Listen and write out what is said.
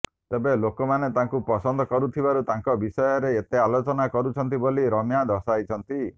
ତେବେ ଲୋକମାନେ ତାଙ୍କୁ ପସନ୍ଦ କରୁଥିବାରୁ ତାଙ୍କ ବିଷୟରେ ଏତେ ଆଲୋଚନା କରୁଛନ୍ତି ବୋଲି ରମ୍ୟା ଦର୍ଶାଇଛନ୍ତି